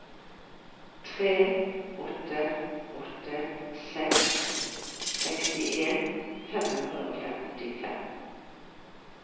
tre åtte åtte seks sekstien fem hundre og femtifem